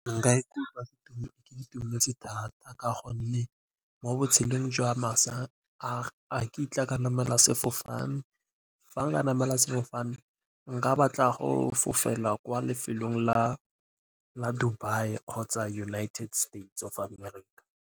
Nka ikutlwa ke itumetse thata ka gonne mo botshelong jwa masa a ga nkitla ka namela sefofane. Fa nka namela sefofane nka batla go fofela kwa lefelong la Dubai kgotsa United States of America.